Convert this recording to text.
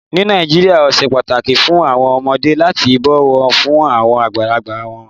Ní Nàìjíríà, ó sè páàtàkì fún awọn ọmọdé lati bọ̀ wọ̀ fún awọn agbálagbà wọn.